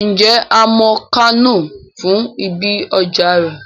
Ǹjẹ́ a mọ Kánò fún ibi ọjà rẹ̀?